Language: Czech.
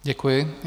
Děkuji.